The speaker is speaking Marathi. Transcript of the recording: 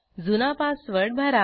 जुना पासवर्ड भरा